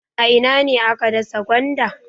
A ina ne aka dasa gwanda?